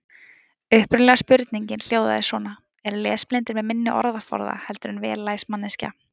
Upprunalega spurningin hljóðaði svona: Eru lesblindir með minni orðaforða heldur en vel læs manneskja?